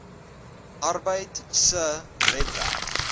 arbeid se webwerf